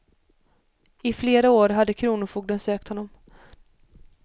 I flera år hade kronofogden sökt honom.